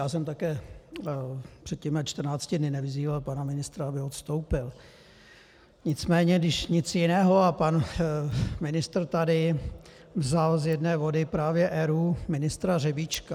Já jsem také před těmi 14 dny nevyzýval pana ministra, aby odstoupil, nicméně když nic jiného - a pan ministr tady vzal z jedné vody právě ERÚ, ministra Řebíčka.